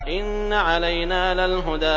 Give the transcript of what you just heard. إِنَّ عَلَيْنَا لَلْهُدَىٰ